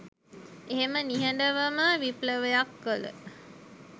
එහෙම නිහඬවම විප්ලවයක් කල